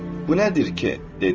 Bu nədir ki, dedi.